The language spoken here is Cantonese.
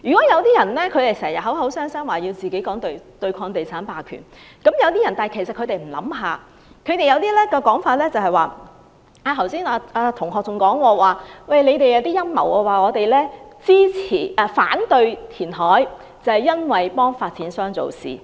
有些人經常說要對抗地產霸權，但其實他們有否想過，他們有些說法是......剛才朱同學提及某陰謀論，指反對填海是要偏袒發展商。